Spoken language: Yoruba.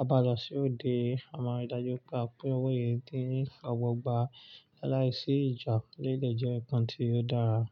a bá lọ sí òde, a máa rí dájú pé owó yìí dín ní ogbogba. Láìsí ìjà, eleyi dè jẹ́ nǹkan tí ó dára.